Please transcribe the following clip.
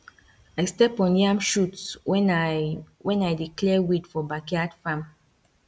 i step on yam shoot when i when i dey clear weed for backyard farm